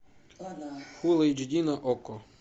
фулл эйч ди на окко